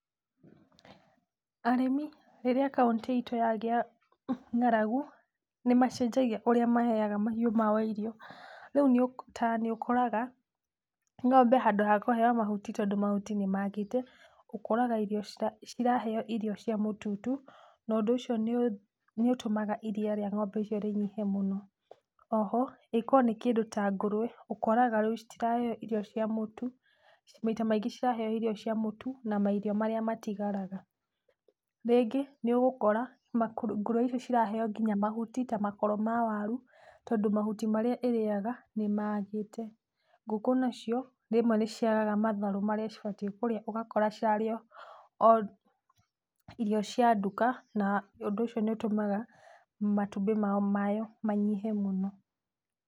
Arĩmi, rĩrĩa kaũntĩ itũ yagĩa ng'aragu, nĩ macenjagia ũrĩa maheaga mahiũ mao irio. Rĩu ta nĩ ũkoraga ng'ombe handũ ha kũheo mahuti tondũ mahuti nĩ maagĩte ũkoraga ciraheo irio cia mũtutu, na ũndũ ũcio nĩ ũtũmaga iria rĩa ng'ombe icio rĩnyihe mũno. O ho, ĩĩ korũo nĩ kĩndũ ta ngũrwe ũkoraga rĩu citiraheo irio cia mũtu, maita maingĩ ciraheo irio cia mũtu na mairio marĩa matigaraga. Rĩngĩ nĩ ũgũkora ngũrwe icio ciraheo nginya mahuti ta makoro ma waru tondũ mahuti marĩa ĩrĩaga nĩ magĩte. Ngũkũ nacio rĩmwe nĩ ciagaga matharũ marĩa cibatiĩ kũrĩa ũgakora cirarĩa o irio cia nduka , na ũndũ ũcio nĩ ũtũmaga matumbĩ macio manyihe mũno.